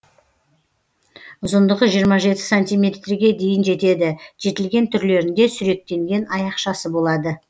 ұзындығы жиырма жеті сантиметрге дейін жетеді жетілген түрлерінде сүректенген аяқшасы болады